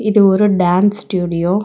இது ஒரு dance studio .